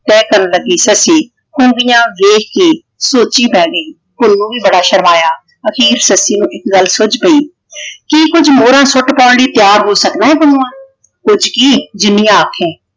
ਤਹਿ ਕਰਨ ਲੱਗੀ ਸੱਸੀ ਹੁੰਦੀਆਂ ਵੇਖ ਕੇ ਸੋਚੀ ਪੈ ਗਈ ਹੁਣ ਉਹ ਵੀ ਬੜਾ ਸ਼ਰਮਾਇਆ। ਅਖੀਰ ਸੱਸੀ ਨੂੰ ਇੱਕ ਗੱਲ ਸੁੱਜ ਪਈ ਕਿ ਕੁੱਝ ਮੋਹਰਾਂ ਫੁੱਟ ਪਾਉਣ ਲਈ ਤਿਆਰ ਹੋ ਸਕਦਾ ਹੈ ਪੁੰਨੂੰਆਂ ਕੁਛ ਕੀ ਜਿੰਨੀਆਂ ਆਖੇ।